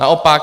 Naopak.